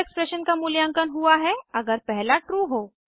दूसरा एक्सप्रेशन का मूल्यांकन हुआ है अगर पहला ट्रू हो